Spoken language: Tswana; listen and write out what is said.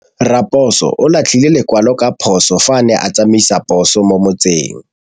Raposo o latlhie lekwalô ka phosô fa a ne a tsamaisa poso mo motseng.